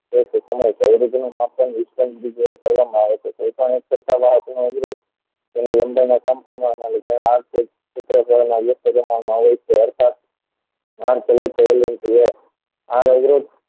કરવામાં આવે છે અર્થાત